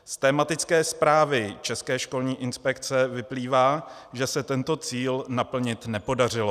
Z tematické zprávy České školní inspekce vyplývá, že se tento cíl naplnit nepodařilo.